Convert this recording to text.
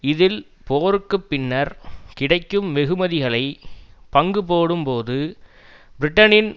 இதில் போருக்கு பின்னர் கிடைக்கும் வெகுமதிகளை பங்கு போடும் போது பிரிட்டனின்